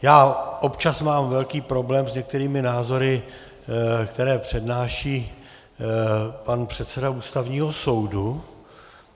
Já občas mám velký problém s některými názory, které přednáší pan předseda Ústavního soudu.